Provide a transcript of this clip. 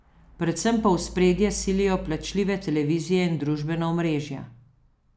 Predvsem pa v ospredje silijo plačljive televizije in družbena omrežja.